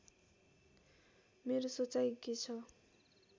मेरो सोचाई के छ